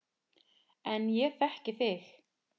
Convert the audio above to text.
En ég þekki þig.